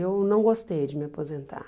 Eu não gostei de me aposentar.